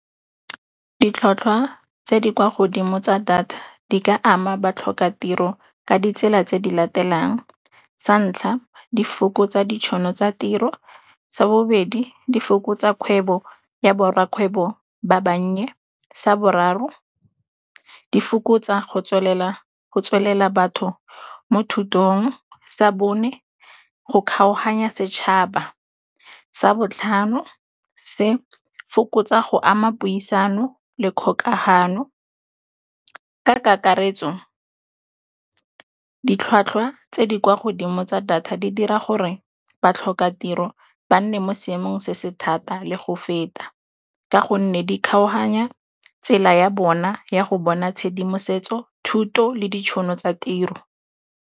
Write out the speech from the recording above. Ditlhwatlhwa tse di kwa godimo tsa data di ka ama batlhoka tiro ka ditsela tse di latelang. Sa ntlha di fokotsa ditšhono tsa tiro, sa bobedi di fokotsa kgwebo ya borra kgwebo ba bannye, sa boraro di fokotsa go tswelela batho mo thutong, sa bone go kgaoganya setšhaba, sa botlhano se fokotsa go ama puisano le kgokagano. Ka kakaretso ditlhwatlhwa tse di kwa godimo tsa data di dira gore batlhoka tiro ba nne mo seemong se se thata le go feta, ka gonne di kgaoganya tsela ya bona ya go bona tshedimosetso, thuto le ditšhono tsa tiro.